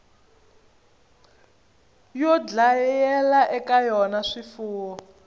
yo dlayela eka yona swifuwo